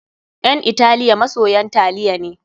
Ƴan Italiya masoyan taliya ne.